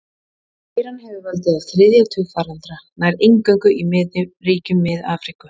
Veiran hefur valdið á þriðja tug faraldra, nær eingöngu í ríkjum Mið-Afríku.